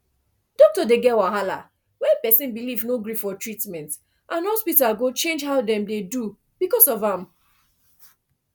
doctor dey get wahala when person belief no gree for treatment and hospital go change how dem dey do because of am